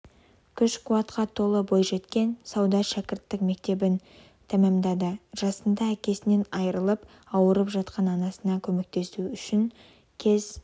күш-қуатқа толы бойжеткен сауда шәкірттік мектебін тәмамдады жасында әкесінен айырылып ауырып жатқан анасына көмектесу үшін кез